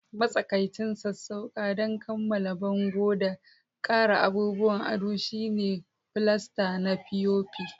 Matsakaicin sassauƙa don kammala bango da ƙara abubuwan ado shine filasta na fiyofi